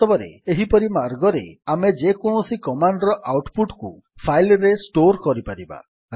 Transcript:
ବାସ୍ତବରେ ଏହିପରି ମାର୍ଗରେ ଆମେ ଯକୌଣସି କମାଣ୍ଡ୍ ର ଆଉଟ୍ ପୁଟ୍ କୁ ଫାଇଲ୍ ରେ ଷ୍ଟୋର୍ କରିପାରିବା